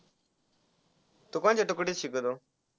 तू कोणत्या तुकडीत शिकतो.